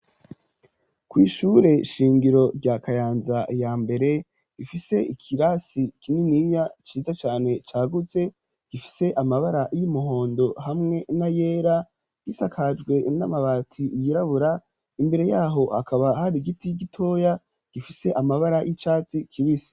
kw'ishure shingiro rya Kayanza ya mbere, ifise ikirasi kininiya ciza cane cagutse gifise amabara y'umuhondo hamwe n'ayera, gisakajwe n'amabati yirabura, imbere yaho hakaba hari igiti gitoya gifise amabara y'icatsi kibisi.